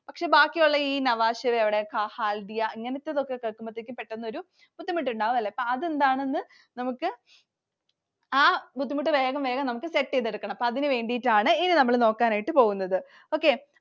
പക്ഷെ ബാക്കിയുള്ള ഈ Nhava Sheva എവിടെ, Haldia ഇതൊക്കെ കേൾക്കുമ്പോൾ പെട്ടന്നൊരു ബുദ്ധിമുട്ടുണ്ടാവും ല്ലേ. അതെന്താണ് എന്ന് നമുക്ക്, ആ ബുദ്ധിമുട്ട് വേഗം വേഗം നമുക്ക് set ചെയ്തു എടുക്കണം. അതിനുവേണ്ടിയിട്ടാണ് ഇനി നമ്മൾ നോക്കാനായിട്ടു പോകുന്നത്. okay